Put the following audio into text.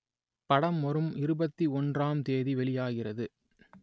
படம் வரும் இருபத்தி ஒன்றாம் தேதி வெளியாகிறது